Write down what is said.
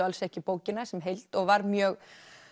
alls ekki bókina sem heild og var mjög